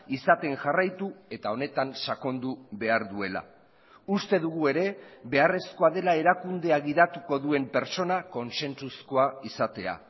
izaten jarraitu eta honetan sakondu behar duela uste dugu ere beharrezkoa dela erakundea gidatuko duen pertsona kontzentzuzkoa izatea